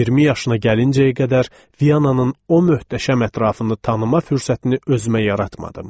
20 yaşına gəlincəyə qədər Vyananın o möhtəşəm ətrafını tanıma fürsətini özümə yaratmadım.